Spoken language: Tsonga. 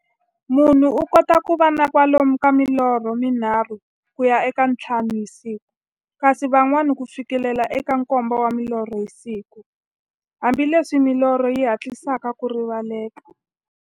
Munhu u kota ku va na kwalomu ka milorho mi nharhu ku ya ka ya nthlanu hi siku, kasi van'wana ku fikela eka nkombo wa milorho hi siku, hambileswi milorho yi hatlisaka ku rivaleka.